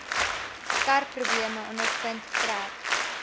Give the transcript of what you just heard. karprobleme ondervind trek